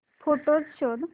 photos शोध